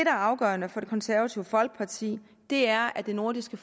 er afgørende for det konservative folkeparti er at det nordiske